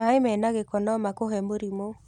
Maĩmena gĩko no makũhe mũrimũ.